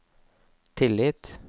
tillit